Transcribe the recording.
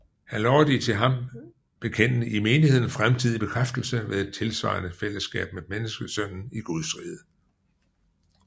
Han lover de til ham bekendende i menigheden fremtidig bekræftelse ved et tilsvarende fællesskab med menneskesønnen i Gudsriget